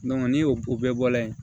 ni y'o o bɛɛ bɔla yen